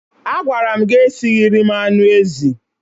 Agwara m gi esighiri m anụ ezi.